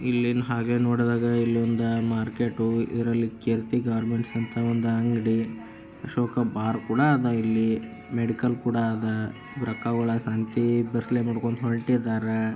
ಇಲ್ಲೀನು ಹಾಗೆ ನೋಡ್ದಾಗ ಇಲ್ ಒಂದು ಮಾರ್ಕೆಟ್ ಇದರಲ್ಲಿ ಕೀರ್ತಿ ಗಾರ್ಮೆಂಟ್ಸ್ ಅಂತ ಒಂದ್ ಅಂಗಡಿ ಅಶೋಕ ಬಾರ್ ಕೂಡ ಅದ ಇಲ್ಲಿ ಮೆಡಿಕಲ್ ಕೂಡ ಆದ ನೋಡ್ಕೊಂಡು ಹೊರಟಿದಾರ.